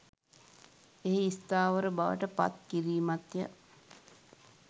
එහි ස්ථාවර බවට පත් කිරීමත් ය.